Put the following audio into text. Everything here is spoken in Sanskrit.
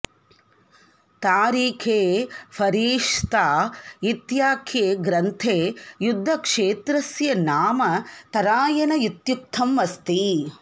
तारीखे फरीश्ता इत्याख्ये ग्रन्थे युद्धक्षेत्रस्य नाम तरायन इत्युक्तम् अस्ति